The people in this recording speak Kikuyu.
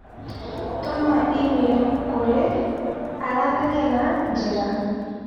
Tũma i-mīrū kũrĩ aranĩrĩa na njĩra